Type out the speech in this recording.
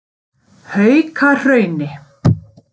Haukahrauni